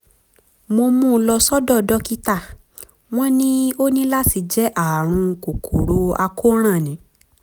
mo mú un lọ sọ́dọ̀ dókítà wọ́n ní ó ní láti jẹ́ ààrùn kòkòrò àkóràn ni